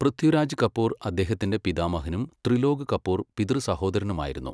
പൃഥ്വിരാജ് കപൂർ അദ്ദേഹത്തിന്റെ പിതാമഹനും ത്രിലോക് കപൂർ പിതൃസഹോദരനുമായിരുന്നു.